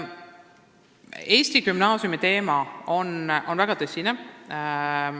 Eesti gümnaasiumi teema on väga tõsine.